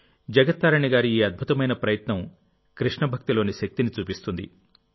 జగత్ తారిణి గారి ఈ అద్భుతమైన ప్రయత్నంకృష్ణభక్తి లోని శక్తిని చూపిస్తుంది